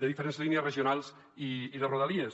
de diferents línies regionals i de rodalies